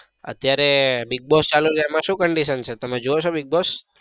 અત્યારે bigboss ચાલુ છે એમાં શું condition છે તમે જોવો છો big boss?